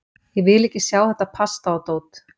Ég vil ekki sjá þetta pasta og dót.